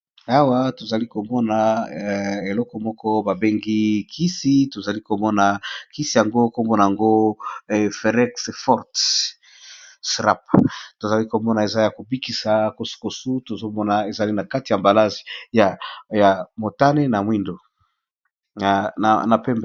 Awa tozali komona eleko moko babengi kisi, tozali komona kisi yango nkombona yango ferexford srap, tozali komona eza ya kobikisa kosukosu tozomona ezali na kati ya mbalage ya motane na mwindu na pembe.